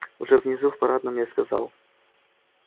уже внизу в парадном я сказал